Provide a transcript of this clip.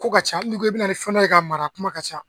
Ko ka ca hali n'i ko e bɛ na ni fɛn dɔ ye k'a mara a kuma ka ca.